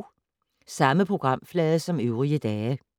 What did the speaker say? Samme programflade som øvrige dage